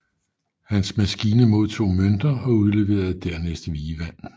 Hans maskine modtog mønter og udleverede dernæst vievand